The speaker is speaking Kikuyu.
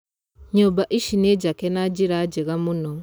Nyũmba ici ni njake na njĩra njega mũno